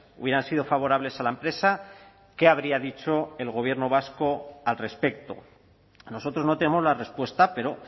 hubieran sido favorables a la empresa qué habría dicho el gobierno vasco al respecto nosotros no tenemos la respuesta pero